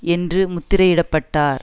என்று முத்திரையிடப்பட்டார்